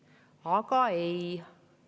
Aga ei!